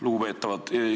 Lugupeetavad!